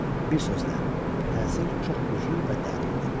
Bir sözlə, təsir çox güclü və dərindi.